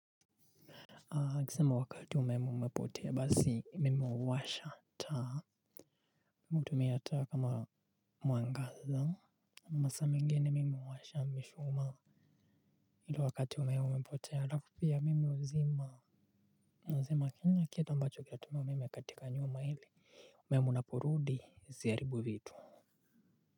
Kisema wakati umepotea basi mimi huwasha taa hutumia taa kama mwangaza masaa mengine mimi huwasha mishumaa ili wakati umeme umepotea alafu pia mimi huzima nazima kila kitu ambacho kinatumia umeme katika nyumba ili umeme unaporudi zisiharibu vitu.